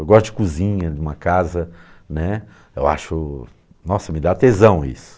Eu gosto de cozinha, de uma casa, né, eu acho... nossa, me dá tesão isso.